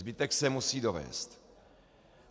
Zbytek se musí dovézt.